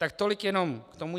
Tak tolik jenom k tomu.